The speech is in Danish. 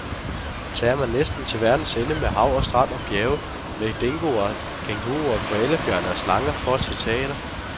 Tager man næsten til verdens ende med hav og strand og bjerge, med dingoer, kænguruer, koalabjørne og slanger, for at se teater?